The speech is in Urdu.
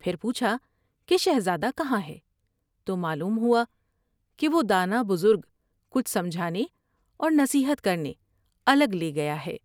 پھر پوچھا کہ شہزادہ کہاں ہے تو معلوم ہوا کہ وہ دانا بزرگ کچھ سمجھانے اور نصیحت کرنے الگ لے گیا ہے ۔